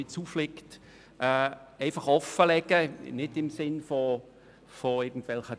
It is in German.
Ich will hier offenlegen, wie wir die Situation einschätzen.